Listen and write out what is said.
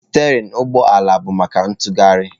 Stereịn ụgbọ ala bụ maka ntughari.